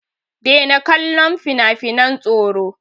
Daina kallon finafinan tsoro!